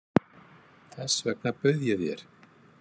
Þess vegna bauð ég þér.